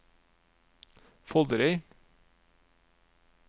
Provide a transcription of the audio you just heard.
Foldereid